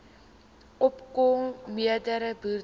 opko mende boere